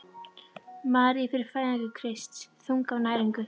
Maríu fyrir fæðingu Krists: þunguð af næringu.